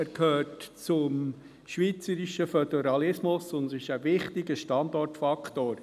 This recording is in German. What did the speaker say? Er gehört zum schweizerischen Föderalismus und ist ein wichtiger Standortfaktor.